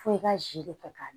Fo i ka ji de kɛ k'a dun